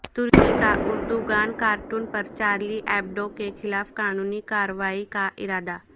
ترکی کا Erdogan cartoon پر Charlie Hebdo کے خلاف قانونی کارروائی کا ارادہ